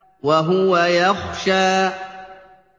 وَهُوَ يَخْشَىٰ